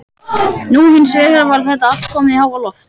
Nú hins vegar var þetta allt komið í háaloft.